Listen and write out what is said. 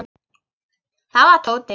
Það var Tóti.